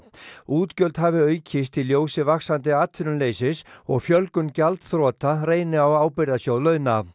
útgjöld hafi aukist í ljósi vaxandi atvinnuleysis og fjölgun gjaldþrota reyni á ábyrgðarsjóð launa